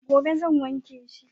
gobe zan wanke shi